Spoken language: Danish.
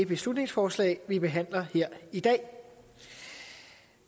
beslutningsforslag vi behandler her i dag